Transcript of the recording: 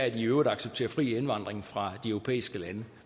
i øvrigt accepterer fri indvandring fra de europæiske lande